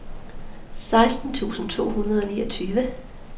seksten tusind to hundrede og niogtyve